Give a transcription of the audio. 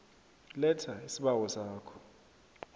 letha isibawo sakho